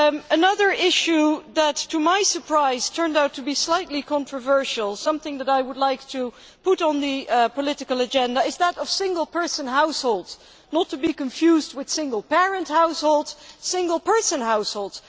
Another issue that to my surprise turned out to be slightly controversial and something that I would like to put on the political agenda is that of single person households, not to be confused with single parent households single person households.